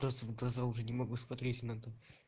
просто в глаза уже не могу смотреть иногда